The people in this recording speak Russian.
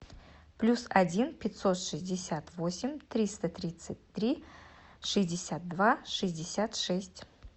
плюс один пятьсот шестьдесят восемь триста тридцать три шестьдесят два шестьдесят шесть